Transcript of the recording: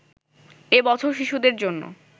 এ বছর শিশুদের জন্য